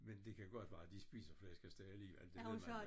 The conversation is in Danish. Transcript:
Men det kan godt være de spiser flæskesteg af lige eller det ved man